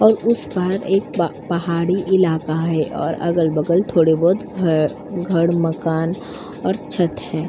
और उस पर एक पहाड़ी इलाका है और अगल-बगल थोड़े बोहोत घर घड़ मकान और छत है।